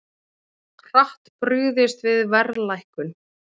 Hratt brugðist við verðlækkun